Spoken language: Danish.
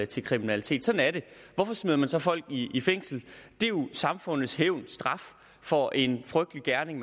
til kriminalitet sådan er det hvorfor smider man så folk i i fængsel det er jo samfundets hævn og straf for en frygtelig gerning